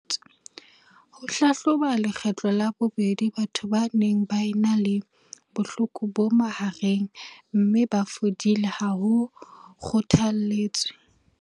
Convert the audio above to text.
Ho hlahloba lekgetlo la bobedi batho ba neng ba ena le bohloko bo mahareng mme ba fodile ha ho kgothaletswe.